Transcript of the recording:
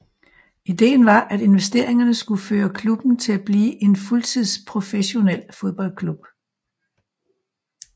Ideen var at investeringerne skulle føre klubben til at blive en fuldtidsprofessionel fodboldklub